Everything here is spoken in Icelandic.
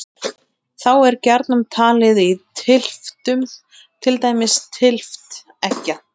Hins vegar urðu samúræjar alls ráðandi í stjórnkerfinu og sáu að mestu um opinbera stjórnsýslu.